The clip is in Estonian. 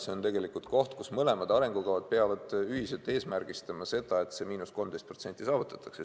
See on koht, kus mõlemad arengukavad peavad ühiselt eesmärgistama seda, et see –13% saavutatakse.